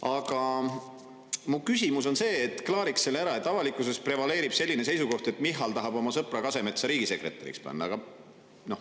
Aga mu küsimus on see, klaariks selle ära, et avalikkuses prevaleerib selline seisukoht, et Michal tahab oma sõpra Kasemetsa riigisekretäriks panna.